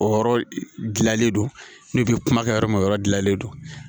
O yɔrɔ dilannen don n'u bɛ kuma kɛ yɔrɔ min o yɔrɔ dilanlen don